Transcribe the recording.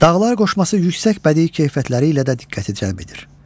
Dağlar qoşması yüksək bədii keyfiyyətləri ilə də diqqəti cəlb edir.